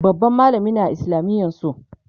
babban mallami ne a islamiyan su